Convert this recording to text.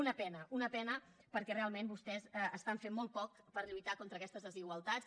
una pena una pena perquè realment vostès estan fent molt poc per lluitar contra aquestes desigualtats